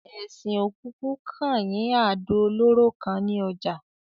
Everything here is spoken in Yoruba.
Esin ò kokú kan yín àdò olóró kan ni ojà